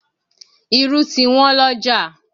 Irú ti Wọ́n lọ́jà